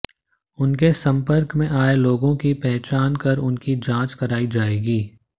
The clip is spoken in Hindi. उनके संपर्क में आये लोगों की पहचान कर उनकी जांच कराई जाएगी